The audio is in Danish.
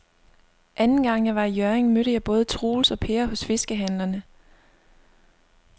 Anden gang jeg var i Hjørring, mødte jeg både Troels og Per hos fiskehandlerne.